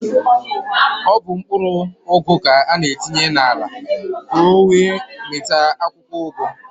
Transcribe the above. Ọ bụ mkpụrụ ụgụ ka an-etinye n'ala ka ọ wee mịta akwụkwọụgụ.